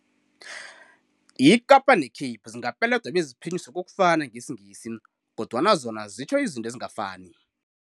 Ikapa ne-Cape zingapeledwa beziphinyiswe kokufana ngesiNgisi kodwana zona zitjho izinto ezingafani.